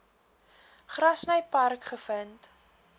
grassy park gevind